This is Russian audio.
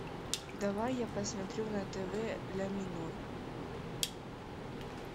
давай я посмотрю на тв ля минор